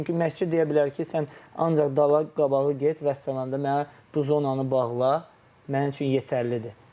Çünki məşqçi deyə bilər ki, sən ancaq dala qabağa get vəssalam da mənə bu zonanı bağla, mənim üçün yetərlidir.